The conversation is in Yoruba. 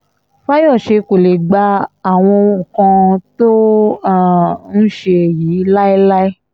fàyọṣe kó lè um gba àwọn nǹkan tó um ń ṣe yìí láéláé